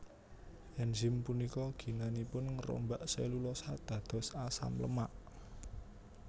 Enzim punika ginanipun ngrombak selulosa dados asam lemak